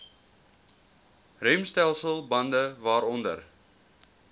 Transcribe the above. remstelsel bande waaronder